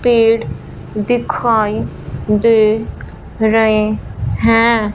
पेड़ दिखाई दे रहें हैं।